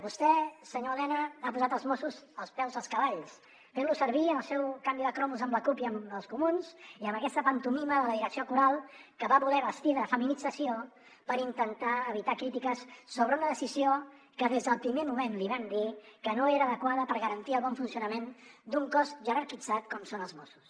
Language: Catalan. vostè senyor elena ha posat els mossos als peus dels cavalls fent los servir en el seu canvi de cromos amb la cup i amb els comuns i amb aquesta pantomima de la direcció coral que va voler vestir de feminització per intentar evitar crítiques sobre una decisió que des del primer moment li vam dir que no era adequada per garantir el bon funcionament d’un cos jerarquitzat com són els mossos